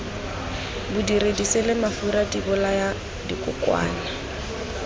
bodiri diseele mafura dibolaya dikokwana